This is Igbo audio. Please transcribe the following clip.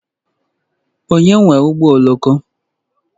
Onye nwe ụgbọ oloko?